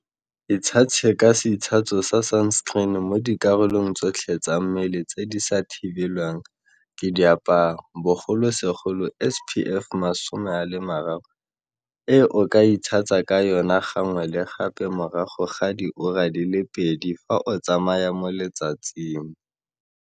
Itshase ka seitshaso sa sunscreen mo dikarolong tsotlhe tsa mmele tse di sa thibelwang ke diaparo, bogolosegolo SPF 30, e o ka itshasang ka yona gangwe le gape morago ga diura di le pedi fa o tsamaya mo letsatsing.